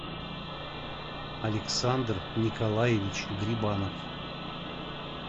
александр николаевич грибанов